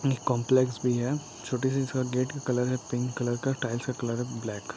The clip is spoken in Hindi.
ये कोम्प्लेक्स भी है छोटी सी गेट का कलर है पिंक कलर का टाइल्स का कलर है ब्लैक ।